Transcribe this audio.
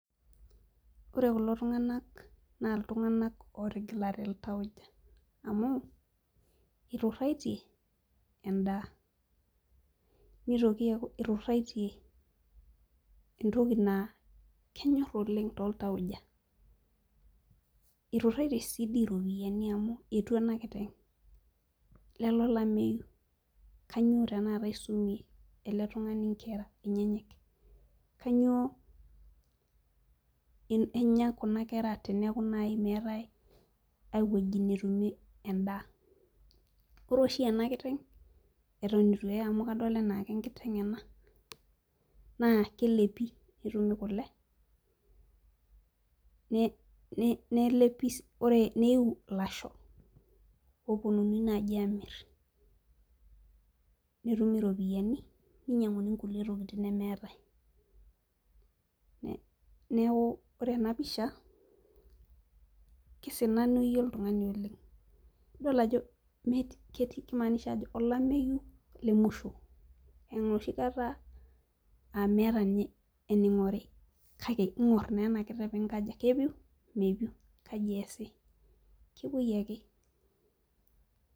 Ore kulo tunganak naa iltunganak ootigilate iltauja amu ituraitie endaa. nitoki aaku ituraitie entoki naa kenyor oleng tooltauja, ituraitie sii dii iropiyiani amu etua ena kiteng'.lele olameyu, kainyioo tenakata isumie ele tungani nkera enyenyek. kainyioo Enya Kuna kera. teneeku naaji meetae ae wueji, netumie edaa. ore oshi ena kiteng' etonr eitu eye amu kadol ajo enkiteng' ena naa kelepi netumi kule. neyiu ilasho oopuonunui naaji amir, netumi iropiyiani, ninyiang'uni kulie tokitin nemeetae. neeku ore ena pisha kisananayie oltungani oleng. idol ajo metii . kimaanisha ajo olameyu le musho. enoshi kata aa .meeta ninye eningori. kake ing'or naa ena kiteng' pee inkaja, kepiu ,mepiu, kepuoi ake.